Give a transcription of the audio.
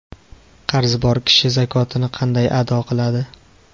Qarzi bor kishi zakotini qanday ado qiladi?.